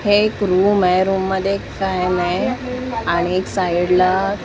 हे एक रूम आहे रूम मध्ये एक फॅन आहे आणि एक साईडला --